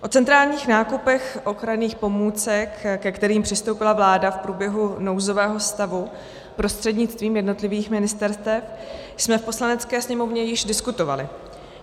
O centrálních nákupech ochranných pomůcek, ke kterým přistoupila vláda v průběhu nouzového stavu prostřednictvím jednotlivých ministerstev, jsme v Poslanecké sněmovně již diskutovali.